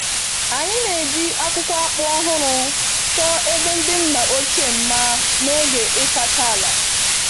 Anyị na-eji akwụkwọ akpu ọhụrụ chọọ ebe ndị nna ochie mma n'oge ịsacha ala.